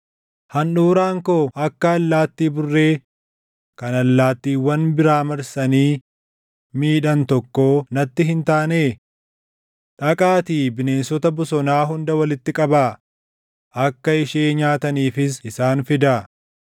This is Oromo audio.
Handhuuraan koo akka allaattii burree kan allaattiiwwan biraa marsanii miidhan tokkoo natti hin taanee? Dhaqaatii bineensota bosonaa hunda walitti qabaa; akka ishee nyaataniifis isaan fidaa.